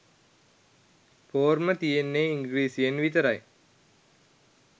පෝර්ම තියෙන්නේ ඉංග්‍රීසියෙන් විතරයි.